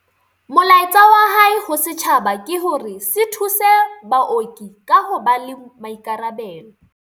Molaetsa wa hae ho setjhaba ke hore se thuse baoki ka ho ba le maikarabelo.